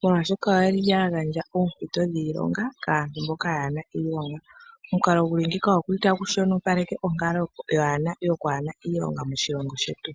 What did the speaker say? molwashoka oya gandja oompito dhiilonga kaantu mboka kaaye na iilonga. Omukalo gu li ngiika otagu shonopaleke onkalo yokwaana iilonga moshilongo shetu.